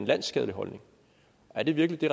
landsskadelig holdning er det virkelig det